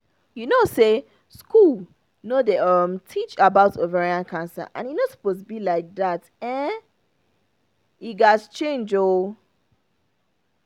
you know say school no dey um teach about ovarian cancer and e no suppose be like that e gat change ooo